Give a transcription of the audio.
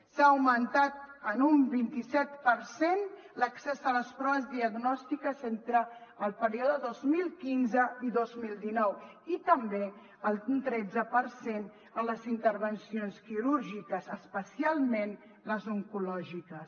s’ha augmentat en un vint set per cent l’accés a les proves diagnòstiques entre el període dos mil quinze i dos mil dinou i també un tretze per cent en les intervencions quirúrgiques especialment les oncològiques